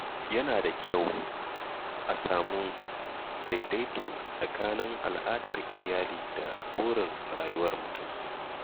Yana da kyau a sami daidaito tsakanin al’adar iyali da burin rayuwar mutum.